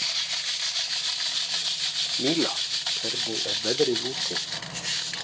Míla, hvernig er veðrið úti?